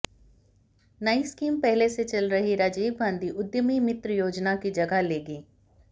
नई स्कीम पहले से चल रही राजीव गांधी उद्यमी मित्र योजना की जगह लेगी